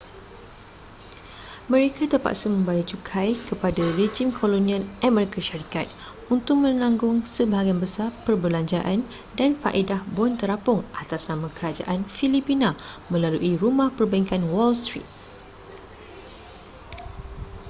mereka terpaksa membayar cukai kepada rejim kolonial amerika syarikat untuk menanggung sebahagian besar perbelanjaan dan faedah bon terapung atas nama kerajaan filipina melalui rumah pembankan wall street